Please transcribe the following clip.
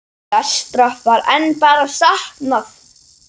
Flestra var enn bara saknað.